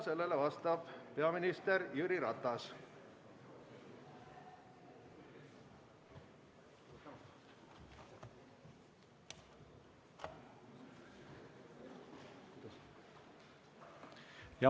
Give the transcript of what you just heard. Sellele vastab peaminister Jüri Ratas.